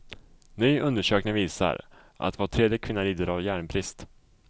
Ny undersökning visar att var tredje kvinna lider av järnbrist.